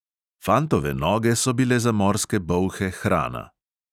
Fantove noge so bile za morske bolhe hrana.